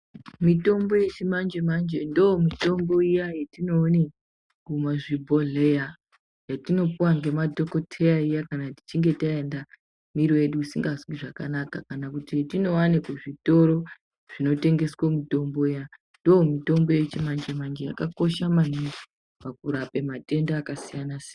Mitombo yechimanje manje ndomitombo iya yatinoone kumazvibhodhleya yetinopuwa ngemadhokoteya iya kana tichinge taenda mwiri yedu isingazwinzvakanaka kana kuti yatinowane kuzvitoro zvinotengeswe mitombo yabndomutombo yechimanje manje yakakosha maningi pakurape matenda akasiyana siyana.